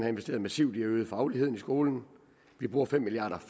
investeret massivt i at øge fagligheden i skolen vi bruger fem milliard